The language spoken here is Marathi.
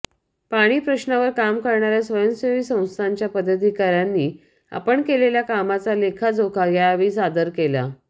पाणी प्रश्नावर काम करणाऱ्या स्वयंसेवी संस्थांच्या पदाधिकाऱ्यांनी आपण केलेल्या कामाचा लेखाजोखा यावेळी सादर केला